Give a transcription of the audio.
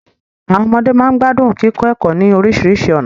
Àwọn ọmọde máa ń gbádùn kíkọ ẹ̀kọ́ ní oríṣiríṣi ọ̀nà